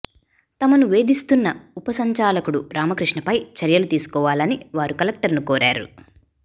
తమను వేధిస్తున్న ఉప సంచాలకుడు రామకృష్ణపై చర్యలు తీసుకోవాలని వారు కలెక్టరును కోరారు